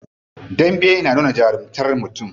Dambe na nuna jarumtar mutum.